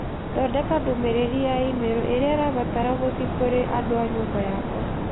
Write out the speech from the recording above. Thondeka ndũmĩrĩri ya i-mīrū ĩrĩa ĩrabatara gũthiĩ kũrĩ andũ a nyũmba ykwa